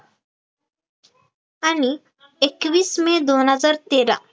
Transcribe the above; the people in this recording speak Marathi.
आणि एकवीस मे दोन हजार तेरा